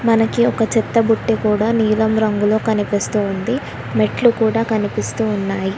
మనకి ఒక చెత్త బుట్టే కూడా నీలం రంగులో కనిపిస్తూ ఉంది. మెట్లు కూడా కనిపిస్తూ ఉన్నాయి.